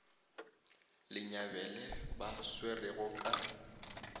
le nyabele ba swerwego ka